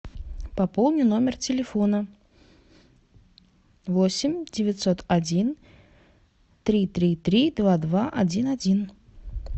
пополни номер телефона восемь девятьсот один три три три два два один один